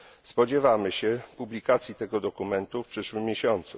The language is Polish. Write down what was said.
Spodziewamy się publikacji tego dokumentu w przyszłym miesiącu.